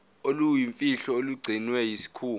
oluyimfihlo olugcinwe yisikhungo